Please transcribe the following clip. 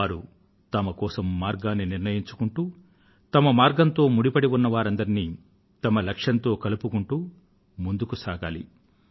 వారు వారి కోసం మార్గాన్ని నిర్ణయించుకుంటూ తమ మార్గంతో ముడిపడి ఉన్న వారందరినీ తమ లక్ష్యంతో కలుపుకుంటూ ముందుకు సాగాలి